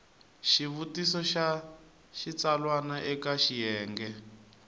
xivutiso xa xitsalwana eka xiyenge